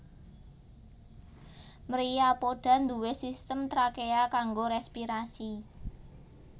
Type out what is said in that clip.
Myriapoda nduwé sistem trakea kanggo respirasi